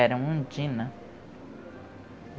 Era Undina.